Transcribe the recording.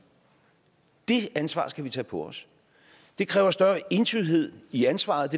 det ansvar skal vi tage på os det kræver større entydighed i ansvaret